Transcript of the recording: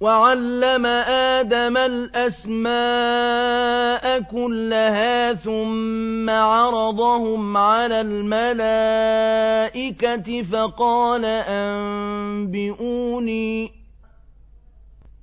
وَعَلَّمَ آدَمَ الْأَسْمَاءَ كُلَّهَا ثُمَّ عَرَضَهُمْ عَلَى الْمَلَائِكَةِ